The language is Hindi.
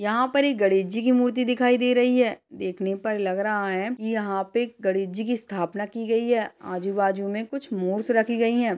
यहाँ पर एक गणेश जी की मूर्ति दिखाई दे रही है। देखने पर लग रहा है कि यहाँ पे गणेश जी की स्थापना की गई है आजू-बाजू में कुछ मूस रखी गई हैं।